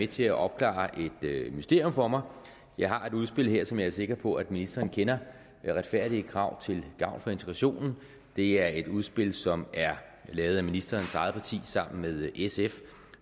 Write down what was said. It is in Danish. til at opklare et mysterium for mig jeg har et udspil her som jeg er sikker på at ministeren kender retfærdige krav til gavn for integrationen det er et udspil som er lavet af ministerens eget parti sammen med sf